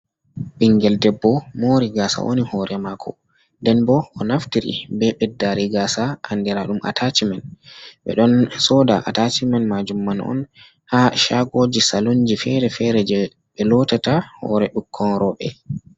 Bingel debbo mori gasa wani hore mako nden bo o naftiri be beddari gasa andira dum atachimen be don soda atacimen majum man on ha shagoji salunji fere-fere je be lotata hore bikkon robe.